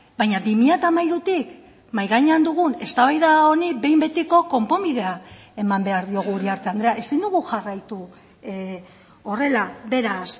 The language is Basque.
baina bi mila hamairutik mahai gainean dugun eztabaida honi behin betiko konponbidea eman behar diogu uriarte andrea ezin dugu jarraitu horrela beraz